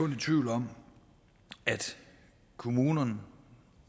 i tvivl om at kommunerne